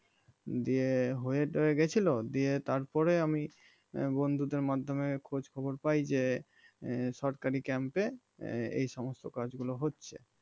দিয়ে হয়ে টয়ে গেছিল দিয়ে তারপরে আমি বন্ধুদের মাধ্যমে খোঁজ খবর পাই যে সরকারি camp এ এই সমস্ত কাজ গুলো হচ্ছে